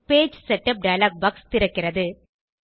page setup dialog box திறக்கிறது